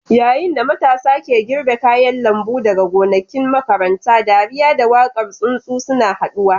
Yayin da matasa ke girbe kayan lambu daga gonakin makaranta, dariya da waƙar tsuntsu suna haɗuwa.